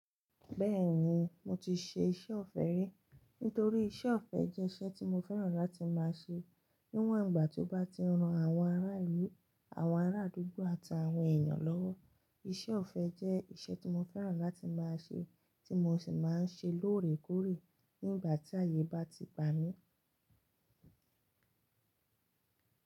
Bẹ́ẹ̀ni, mo ti ṣe iṣẹ́ ọ̀fẹ́ rí. Nítorí iṣẹ́ ọ̀fẹ́ jẹ́ iṣẹ́ tí mo fẹ́ràn láti máa ṣe. Níwọ̀n ìgbà tí ó bá ti ran àwọn ará ìlú, àwọn ará àdúgbò àti àwọn èèyàn lọ́wọ́. Iṣẹ́ ọ̀fẹ́ jẹ́ iṣẹ́ tí mo fẹ́ràn láti máa ṣe, tí mo sì máa ń ṣe lóòrèkóòrè nígbà tí ayé bá ti gbà mí.